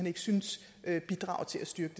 ikke synes bidrager til at styrke